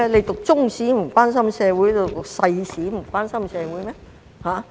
讀中史便不關心社會嗎？